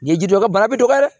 Ɲɛjidɛ bana bɛ dɔgɔya dɛ